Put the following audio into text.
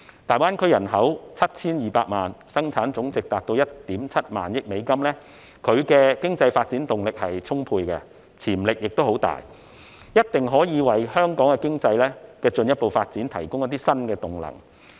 大灣區人口有 7,200 萬，生產總值達到 1.7 萬億美元，具有充沛的經濟發展動力和潛力，一定可以為香港經濟的進一步發展提供一些新動能。